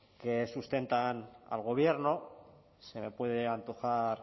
que sustentan al gobierno se me puede antojar